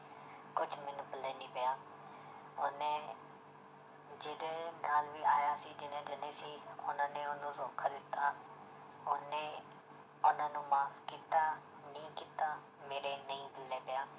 ਕੁਛ ਮੈਨੂੰ ਪੱਲੇ ਨੀ ਪਿਆ ਉਹਨੇ ਜਿਹਦੇ ਨਾਲ ਵੀ ਆਇਆ ਸੀ ਜਿੰਨੇ ਜਾਣੇ ਸੀ ਉਹਨਾਂ ਨੇ ਉਹਨੂੰ ਧੋਖਾ ਦਿੱਤਾ, ਉਹਨੇ ਉਹਨਾਂ ਨੂੰ ਮਾਫ਼ ਕੀਤਾ ਨਹੀਂ ਕੀਤਾ ਮੇਰੇ ਨਹੀਂ ਪੱਲੇ ਪਿਆ,